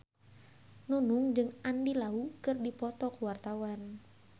Nunung jeung Andy Lau keur dipoto ku wartawan